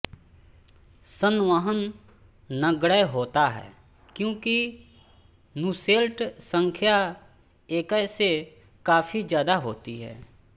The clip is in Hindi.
संवहन नगण्य होता है क्योंकि नूसेल्ट संख्या एक्य से काफी ज्यादा होती है